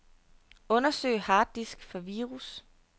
Undersøg harddisk for virus.